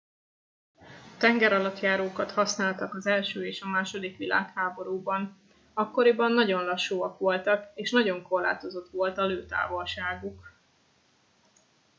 tengeralattjárókat használtak az i és a ii világháborúban akkoriban nagyon lassúak voltak és nagyon korlátozott volt a lőtávolságuk